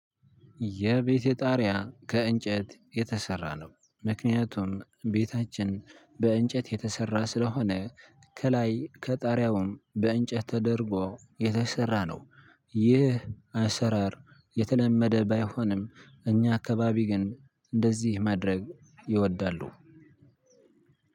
የቤቴ ጣሪያ ከእንጨት የተሰራ ነው። ምክንያቱም ቤታችን በእንጨት የተሰራ ስለሆነ ከላይ ከጣሪያውም በእንጨት ተደርጎ የተሰራ ነው። ይህ አሰራር የተለመደ ባይሆንም እኛ አካባቢ ግን እንደዚህ ማድረግ ይወዳሉ።